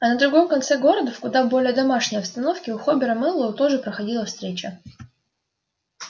а на другом конце города в куда более домашней обстановке у хобера мэллоу тоже проходила встреча